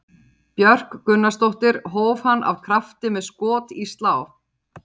Björk Gunnarsdóttir hóf hann af krafti með skot í slá.